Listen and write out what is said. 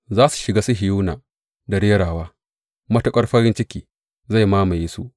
Za su shiga Sihiyona da rerawa; matuƙar farin ciki zai mamaye su.